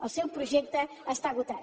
el seu projecte està esgotat